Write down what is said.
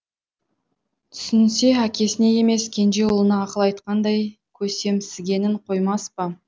түсінсе әкесіне емес кенже ұлына ақыл айтқандай көсемсігенін қоймас па